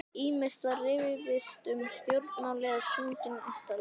Ýmist var rifist um stjórnmál eða sungin ættjarðarlög.